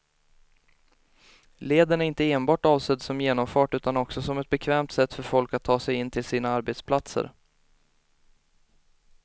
Leden är inte enbart avsedd som genomfart utan också som ett bekvämt sätt för folk att ta sig in till sina arbetsplatser.